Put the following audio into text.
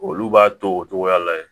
Olu b'a to o cogoya la yen